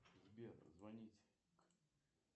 сбер звонить